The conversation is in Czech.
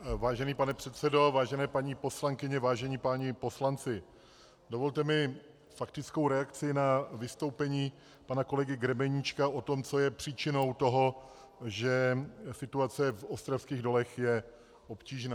Vážený pane předsedo, vážené paní poslankyně, vážení páni poslanci, dovolte mi faktickou reakci na vystoupení pana kolegy Grebeníčka o tom, co je příčinou toho, že situace v ostravských dolech je obtížná.